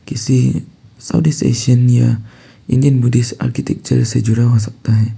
किसी या Indian British architecture से जुड़ा हो सकता हैं।